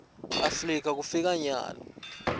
afrika kufika nyalo